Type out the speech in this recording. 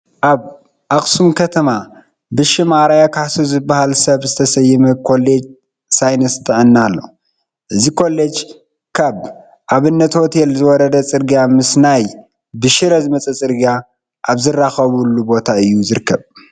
ኣብ ኣኽሱም ከተማ ብሽም ኣርኣያ ካሕሱ ዝበሃል ሰብ ዝተሰመየ ኮሌጅ ሳይንስ ጥዕና ኣሎ፡፡ እዚ ኮሌጅ ካብ ኣብነት ሆቴል ዝወረደ ፅርጊያ ምስ ናይ ብሽረ ዝመፀ ፅርግያ ኣብ ዝራኸበሉ ቦታ እዩ ዝርከብ፡፡